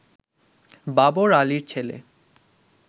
বাবর আলীর ছেলে